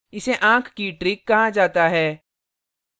इसे आँख की trick कहा जाता है